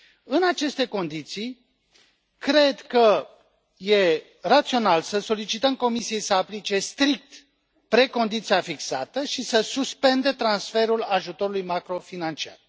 În aceste condiții, cred că e rațional să solicităm Comisiei să aplice strict precondiția fixată și să suspende transferul ajutorului macrofinanciar.